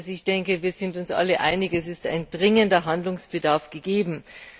Ich denke, wir sind uns alle einig, dass ein dringender Handlungsbedarf gegeben ist.